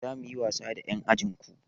Za mu yi wasa da ƴan ajin ku.